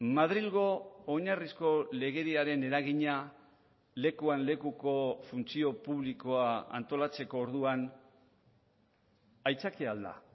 madrilgo oinarrizko legediaren eragina lekuan lekuko funtzio publikoa antolatzeko orduan aitzakia al da